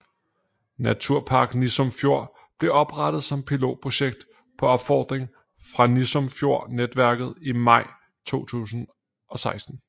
Naturpark Nissum Fjord blev oprettet som pilotprojekt på opfordring fra Nissum Fjord Netværket i maj 2016